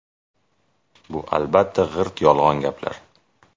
Bu albatta g‘irt yolg‘on gaplar.